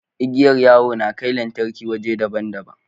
Igiyar yawo na kai lantarki waje daban daban